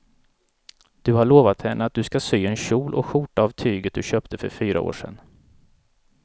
Du har lovat henne att du ska sy en kjol och skjorta av tyget du köpte för fyra år sedan.